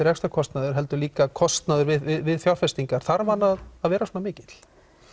rekstrarkostnaður heldur líka kostnaður við fjárfestingar þarf hann að að vera svona mikill